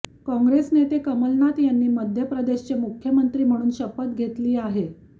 काँग्रेस नेते कमलनाथ यांनी मध्य प्रदेशचे मुख्यमंत्री म्हणून शपथ घेतली आहे